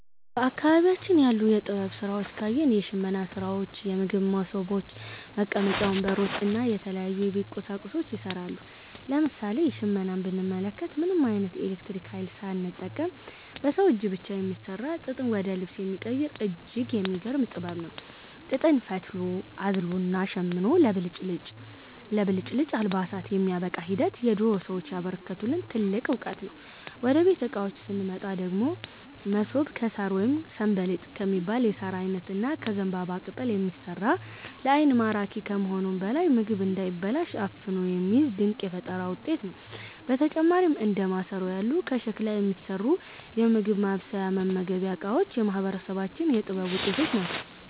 በአካባቢያችን ያሉ የጥበብ ሥራዎችን ካየን፣ የሽመና ሥራዎች፣ የምግብ መሶቦች፣ መቀመጫ ወንበሮች እና የተለያዩ የቤት ቁሳቁሶች ይሠራሉ። ለምሳሌ ሽመናን ብንመለከት፣ ምንም ዓይነት የኤሌክትሪክ ኃይል ሳይጠቀም በሰው እጅ ብቻ የሚሠራ፣ ጥጥን ወደ ልብስ የሚቀይር እጅግ የሚገርም ጥበብ ነው። ጥጥን ፈትሎ፣ አዝሎና ሸምኖ ለብልጭልጭ አልባሳት የሚያበቃበት ሂደት የድሮ ሰዎች ያበረከቱልን ትልቅ ዕውቀት ነው። ወደ ቤት ዕቃዎች ስንመጣ ደግሞ፣ መሶብ ከሣር ወይም 'ሰንበሌጥ' ከሚባል የሣር ዓይነት እና ከዘንባባ ቅጠል የሚሠራ፣ ለዓይን ማራኪ ከመሆኑም በላይ ምግብ እንዳይበላሽ አፍኖ የሚይዝ ድንቅ የፈጠራ ውጤት ነው። በተጨማሪም እንደ ማሰሮ ያሉ ከሸክላ የሚሠሩ የምግብ ማብሰያና መመገቢያ ዕቃዎችም የማህበረሰባችን የጥበብ ውጤቶች ናቸው።